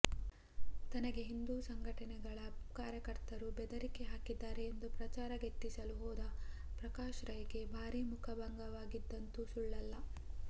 ತನಗೆ ಹಿಂದೂ ಸಂಘಟನೆಗಳ ಕಾರ್ಯಕರ್ತರು ಬೆದರಿಕೆ ಹಾಕಿದ್ದಾರೆ ಎಂದು ಪ್ರಚಾರ ಗಿಟ್ಟಿಸಲು ಹೋದ ಪ್ರಕಾಶ್ ರೈಗೆ ಭಾರೀ ಮುಖಭಂಗವಾಗಿದ್ದಂತು ಸುಳ್ಳಲ್ಲ